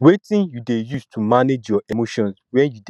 wetin you dey use to manage your emotions when you dey feel overwhelmed